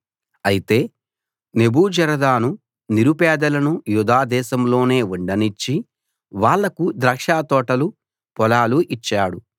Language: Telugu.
అయితే నెబూజరదాను నిరుపేదలను యూదా దేశంలోనే ఉండనిచ్చి వాళ్లకు ద్రాక్షతోటలు పొలాలు ఇచ్చాడు